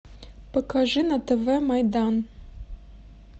покажи на тв майдан